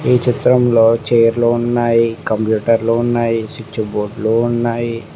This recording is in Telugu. ఈ చిత్రంలో చేర్లు ఉన్నాయి కంప్యూటర్లు ఉన్నాయి స్విచ్ బోర్డ్లు ఉన్నాయి.